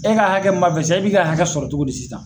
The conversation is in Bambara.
E ka hakɛ min b'a fɛ sisan e b'i ka hakɛ sɔrɔ cogo di sisan